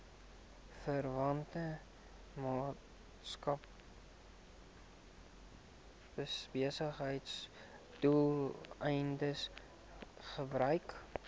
verwante maatskappybesigheidsdoeleindes gebruik